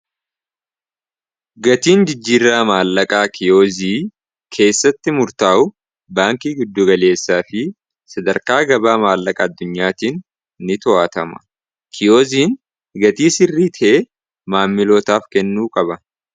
gatiin jijjiirraa maallaqaa kiyoozii keessatti murtaa'u baankii giddugaleessaa fi sadarkaa gabaa maallaqa addunyaatiin ni to'atama kiyooziin gatii sirrii tee maammilootaaf kennuu qaba